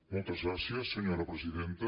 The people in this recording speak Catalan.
moltes gràcies senyora presidenta